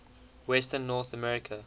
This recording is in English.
western north america